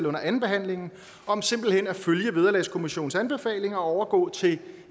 under andenbehandlingen om simpelt hen at følge vederlagskommissionens anbefalinger og overgå til